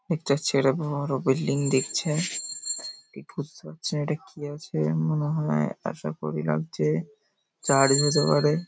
একটা ছেলে বড় বিল্ডিং দেখছে। ঠিক বুজতে পারছি না এটা কি আছে | মনে হয় আশা করি লাগছে চারি হতে পরে |